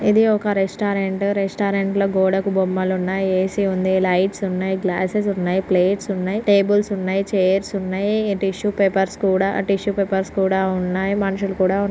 ఇది ఒక restaurant restaurant లొ గోడకు బొమ్మలు ఉన్నాయ్ ఏ_సీ ఉంది లైట్స్ ఉన్నాయ్ గ్లాసెస్ ఉన్నాయ్ ప్లేట్స్ ఉన్నాయ్ టేబుల్స్ ఉన్నాయ్ ఛైర్స్ ఉన్నాయ్ టిష్యూస్ పేపర్స్ కూడా టిష్యూస్ పేపర్స్ కూడా ఉన్నాయ్ మనుషులు కూడా ఉన్ --